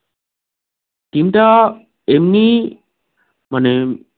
team এমনি মানে